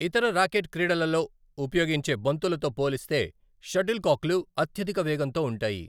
ఇతర ర్యాకెట్ క్రీడలలో ఉపయోగించే బంతులతో పోలిస్తే షట్టిల్కాక్లు అత్యధిక వేగంతో ఉంటాయి.